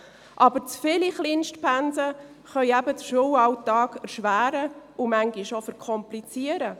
Aber zu viele Kleinstpensen können eben den Schulalltag erschweren und manchmal auch verkomplizieren.